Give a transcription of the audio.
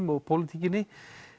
og pólitíkinni